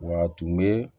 Wa a tun bɛ